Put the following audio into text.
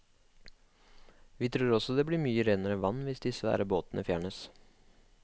Vi tror også det vil bli mye renere vann hvis de svære båtene fjernes.